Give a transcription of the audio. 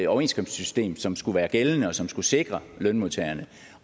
overenskomstsystem som skulle være gældende og som skulle sikre lønmodtagerne